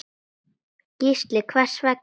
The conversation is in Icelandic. Gísli: Hvers vegna?